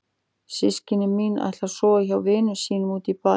Systkini mín ætla að sofa hjá vinum sínum úti í bæ.